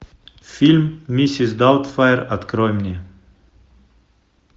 фильм миссис даутфайр открой мне